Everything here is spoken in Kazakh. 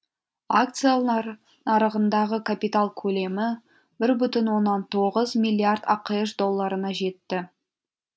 акциялар нарығындағы капитал көлемі бір бүтін оннан тоғыз миллиард ақш долларына жетті